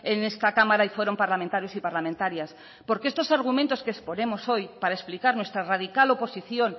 en esta cámara y fueron parlamentarios y parlamentarias porque estos argumentos que exponemos hoy para explicar nuestra radical oposición